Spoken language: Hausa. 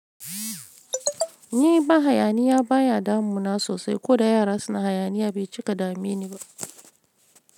Ni ba hayaniya baya damu na sosai, ko da yara suna hayaniya bai cika dame ni ba.